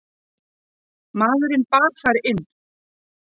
Maðurinn bar þær inn.